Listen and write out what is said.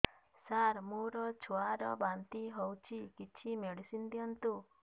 ସାର ମୋର ଛୁଆ ର ବାନ୍ତି ହଉଚି କିଛି ମେଡିସିନ ଦିଅନ୍ତୁ